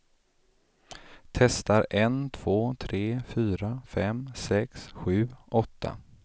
Testar en två tre fyra fem sex sju åtta.